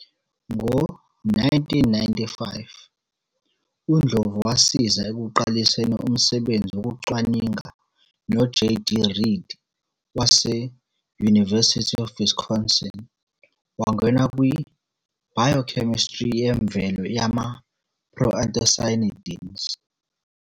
Ngo-1995, uNdlovu wasiza ekuqaliseni umsebenzi wokucwaninga noJD Reed wase- University of Wisconsin wangena kwi-biochemistry yemvelo yama- proanthocyanidins.